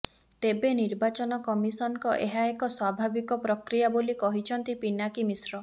ତେବେ ନିର୍ବାଚନ କମିଶନଙ୍କ ଏହା ଏକ ସ୍ୱାଭାବିକ ପ୍ରକ୍ରିୟା ବୋଲି କହିଛନ୍ତି ପିନାକୀ ମିଶ୍ର